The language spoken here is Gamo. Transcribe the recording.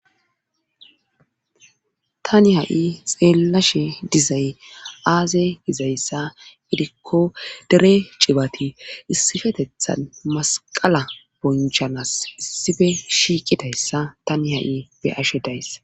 tani ha7i xeellashe dizay aaze dizayssa gidikko dere cibati issifetethan masqala bonchanas issife shiiqidayssa tani ha7i be ashe days